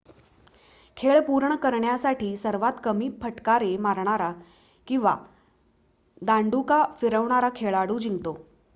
खेळ पूर्ण करण्यासाठी सर्वात कमी फटकारे मारणारा किंवा दांडुका फिरवणारा खेळाडू जिंकतो